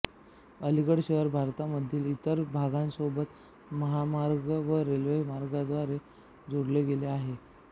अलीगढ शहर भारतामधील इतर भागांसोबत महामार्ग व रेल्वेमार्गांद्वारे जोडले गेले आहे